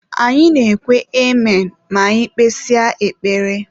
Anyị na-ekwe amen ma anyị kpesịa ekpere.